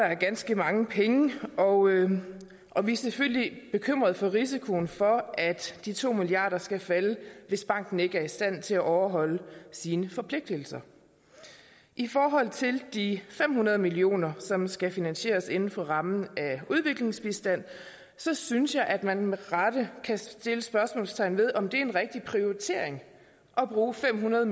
er ganske mange penge og og vi er selvfølgelig bekymrede for risikoen for at de to milliarder skal falde hvis banken ikke er i stand til at overholde sine forpligtelser i forhold til de fem hundrede millioner som skal finansieres inden for rammen af udviklingsbistand synes synes jeg at man med rette kan sætte spørgsmålstegn ved om det er en rigtig prioritering at bruge fem hundrede